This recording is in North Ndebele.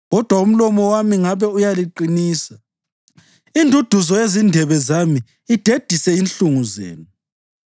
Kodwa umlomo wami ngabe uyaliqinisa; induduzo yezindebe zami idedise inhlungu zenu.